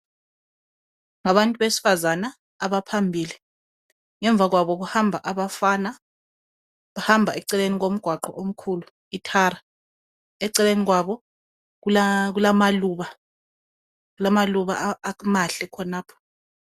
Ngabantu besifazana abaphambili ngemva kwabo kuhamba abafana bahamba eceleni kwomqwaqho omkhulu ithara eceleni kwabo kulamaluba amahle khonapha